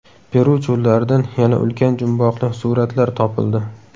Peru cho‘llaridan yana ulkan jumboqli suratlar topildi .